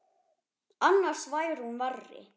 Annars væri hún verri.